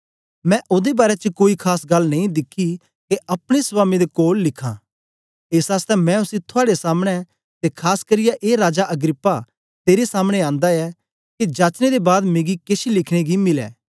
मैं ओदे बारै च कोई खास गल्ल नेई दिखी के अपने स्वामी दे कोल लिखां एस आसतै मैं उसी थुआड़े सामने ते खास करियै ए राजा अग्रिप्पा तेरे सामने आंदा ऐ के जाचने दे बाद मिकी केछ लिखने गी मिलै